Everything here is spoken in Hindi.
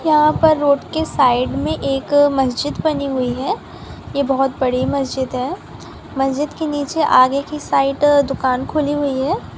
यहापर रोड के साइड में एक मस्जिद बनी हुई है ये बहोत बड़ी मस्जिद है मस्जिद के नीचे आगे की साइड दुकान खोली हुई है।